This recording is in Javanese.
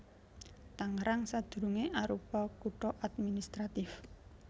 Tangerang sadurungé arupa kutha administratif